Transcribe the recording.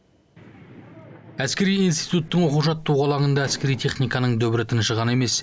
әскери институттың оқу жаттығу алаңында әскери техниканың дүбірі тыншыған емес